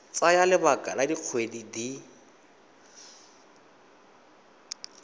tsaya lebaka la dikgwedi di